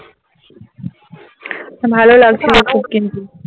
ভালো লাগছিলো কিন্তু